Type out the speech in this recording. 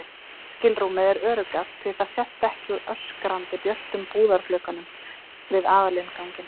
skilrúmið er öruggast því það sést ekki úr öskrandi björtum búðarglugganum við aðalinnganginn.